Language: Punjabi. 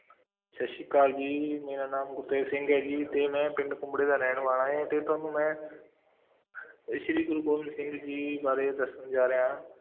ਸਤਿ ਸ੍ਰੀ ਅਕਾਲ ਜੀ, ਮੇਰਾ ਨਾਮ ਗੁਰਤੇਜ ਸਿੰਘ ਹੈ ਜੀ ਤੇ ਮੈਂ ਪਿੰਡ ਕੁੰਬੜੇ ਦਾ ਰਹਿਣ ਵਾਲਾ ਹੈ ਤੇ ਤੁਹਾਨੂੰ ਮੈਂ ਅਹ ਸ੍ਰੀ ਗੁਰੂ ਗੋਬਿੰਦ ਸਿੰਘ ਜੀ ਬਾਰੇ ਦੱਸਣ ਜਾ ਰਿਹਾ ਹਾਂ।